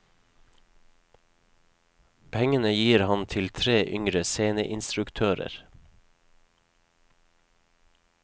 Pengene gir han til tre yngre sceneinstruktører.